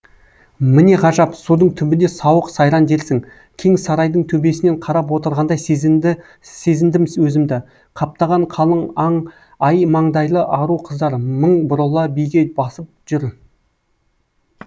міне ғажап судың түбінде сауық сайран дерсің кең сарайдың төбесінен қарап отырғандай сезіндім өзімді қаптаған қалың ай маңдайлы ару қыздар мың бұрала биге басып жүр